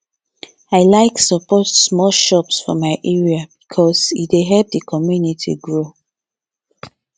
i like support small shops for my area because e dey help the community grow